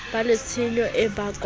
ba le tshenyo e bakwang